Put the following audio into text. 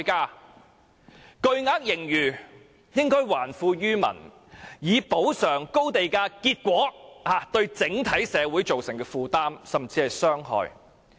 有巨額盈餘，應還富於民，以補償因高地價對整體社會造成的負擔甚至傷害。